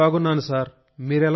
చాలా బాగున్నాను సార్